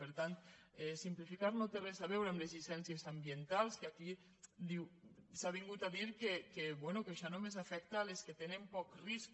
per tant simplificar no té res a veure amb les llicènci·es ambientals que aquí s’ha vingut a dir que bé que això només afecta les que tenen poc risc